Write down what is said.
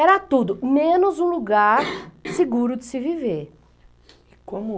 Era tudo, menos um lugar seguro de se viver. Como